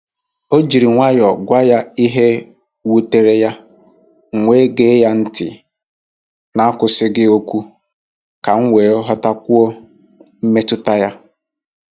O ji nwayọọ gwa ya ihe wutere ya, m wee gee ya ntị n’akwụsịghị okwu ka m ghọtakwuo mmetụta ya.